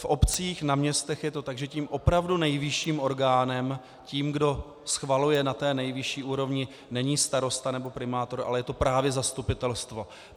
V obcích, na městech je to tak, že tím opravdu nejvyšším orgánem, tím, kdo schvaluje na té nejvyšší úrovni, není starosta nebo primátor, ale je to právě zastupitelstvo.